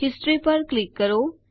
history પર click કરો